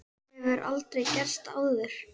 Þetta hefur aldrei gerst áður.